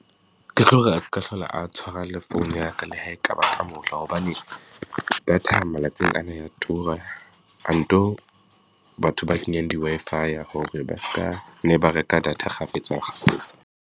Ke tlo re a se ka hlola a tshwara le founu ya ka le ha e ka ba ka mohla, hobane data malatsing ana e ya tura. A nto batho ba kenyang di-Wi-Fi-ya hore ba ska ne ba reka data kgafetsa kgafetsa.